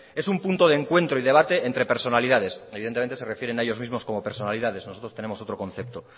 es un punto de encuentro y debate entre personalidades evidentemente se refieren a ellos mismos como personalidades nosotros tenemos otro concepto